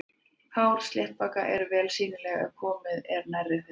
Hár sléttbaka eru vel sýnileg ef komið er nærri þeim.